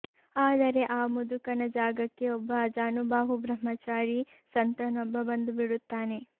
ಆದರೆ ಆ ಮುದುಕನ ಜಾಗಕ್ಕೆ ಒಬ್ಬ ಅಜಾನುಬಾಹು ಬ್ರಹ್ಮಚಾರಿ ಸಂತನೊಬ್ಬ ಬಂದುಬಿಡುತ್ತಾನೆ